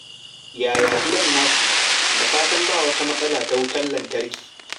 Yaya gidan naku? Da fatan ba wata matsala ta wutar lantarki.